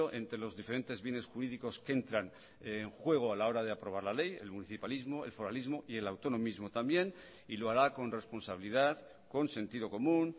entre los diferentes bienes jurídicos que entran en juego a la hora de aprobar la ley el municipalismo el foralismo y el autonomismo también y lo hará con responsabilidad con sentido común